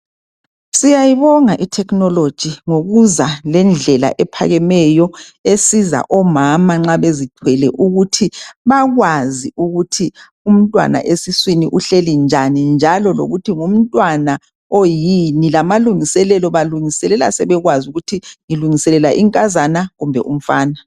Siyayibona i thekhinoloji ngokuza lendlela ephakemeyo esiza omama nxa bezithwele ukuthi bakwazi ukuthi umntwana esiswini uhlezi njani njalo lokuthi ngumntwana oyini, lamalungiselelo balungiselela sebekwazi ukuthi ngilungiselela inkazana kumbe umfana .